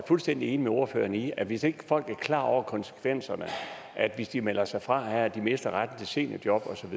fuldstændig enig med ordføreren i at hvis ikke folk er klar over at konsekvenserne af at de melder sig fra her er at de mister retten til seniorjob